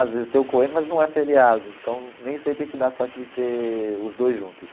Às vezes tem o Cohen, mas não é feriado, então nem sempre a gente dá sorte de ter os dois juntos.